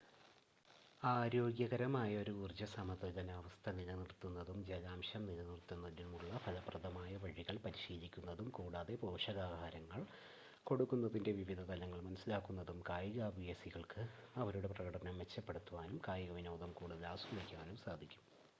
ആരോഗ്യകരമായ ഒരു ഊർജ്ജ സമതുലനാവസ്ഥ നിലനിർത്തുന്നതും ജലാംശം നിലനിർത്തുന്നതിനുള്ള ഫലപ്രദമായ വഴികൾ പരിശീലിക്കുന്നതും കൂടാതെ പോഷകാഹാരങ്ങൾ കൊടുക്കുന്നതിൻറ്റെ വിവിധ തലങ്ങൾ മനസ്സിലാക്കുന്നതും കായികാഭ്യാസികൾക്ക് അവരുടെ പ്രകടനം മെച്ചപ്പെടുത്തുവാനും കായികവിനോദം കൂടുതൽ ആസ്വദിക്കുവാനും സഹായിക്കും